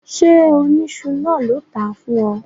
Ṣé oníṣu náà ló tàá fún ọ?